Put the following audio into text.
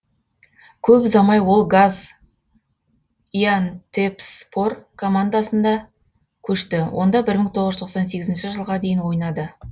көп ұзамай ол газиантепспор командасында көшті онда бір мың тоғыз жүз тоқсан сегізінші жылға дейін ойнады